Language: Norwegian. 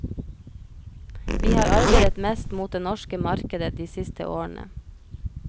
Vi har arbeidet mest mot det norske markedet de siste årene.